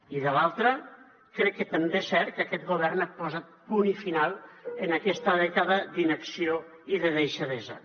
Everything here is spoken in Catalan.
i de l’altra crec que també és cert que aquest govern ha posat punt i final a aquesta dècada d’inacció i de deixadesa